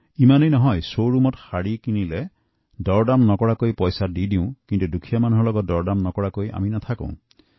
কেৱল ইমানেই নহয় শ্বৰুমত শাড়ী কিনিবলৈ গলে কোনো দৰদাম নকৰে কিন্তু কোনো দুখীয়া লোকৰ সৈতে কাম কৰিলে দৰদাম নকৰাকৈ নেৰে